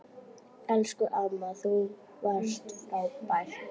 Elsku amma, þú varst frábær.